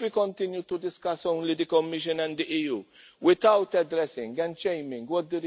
If we continue to discuss only the Commission and the EU without addressing and shaming what the